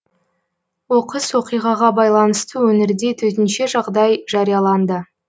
оқыс оқиғаға байланысты өңірде төтенше жағдай жарияланды